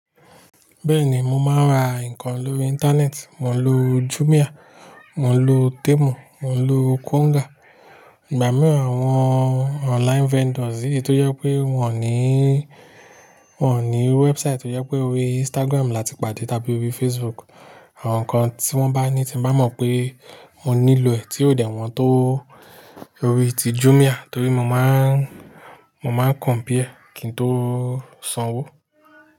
Bẹ́ẹ̀ni, mo máa ń ra nǹkan lórí Íńtánẹ́ẹ̀tì, mo ń lo Jumia, mo ń lo Temu, mo ń lo Konga. Ìgbà mìíràn àwọn online vendors yìí tó yẹ pé wọ́n ò ní, wọ́n ò ní website to yẹ pé orí Instagram láti pàdé tàbí orí Facebook. Àwọn nǹkan tí wọ́n bá ní tí m bá mọ̀ pé mo nílò ẹ̀ tí ó dé wọn tó orí ti Jumia torí mo máa ń, mo máa ń compare kí n tó sanwó.